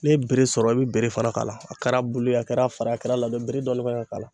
N'e ye bere sɔrɔ e be bere fana k'a la a kɛra bulu ye a kɛra fara ye a kɛra a ladɔn ye betre dɔɔni kan ka k'a la